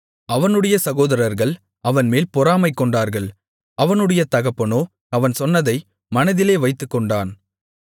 அவனுடைய சகோதரர்கள் அவன்மேல் பொறாமைகொண்டார்கள் அவனுடைய தகப்பனோ அவன் சொன்னதை மனதிலே வைத்துக்கொண்டான்